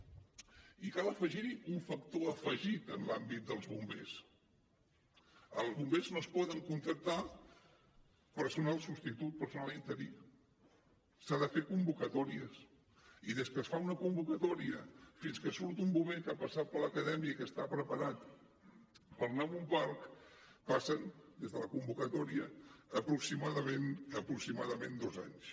i cal afegir hi un factor afegit en l’àmbit dels bombers en els bombers no es pot contractar personal substitut personal interí s’han de fer convocatòries i des que es fa una convocatòria fins que surt un bomber que ha passat per l’acadèmia i que està preparat per anar a un parc passen des de la convocatòria aproximadament dos anys